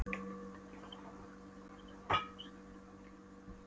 Hann týndi öllu sem honum var kærast, hundinum, stelpunni, öllu.